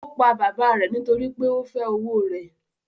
Ó pa bàbá rẹ̀ nítorí pé ó fẹ́ owó rẹ̀